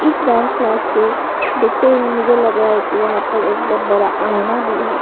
इस dance class के देखते हुए मुझे लग रहा है कि वहां पर एक बहोत बड़ा आईना भी है।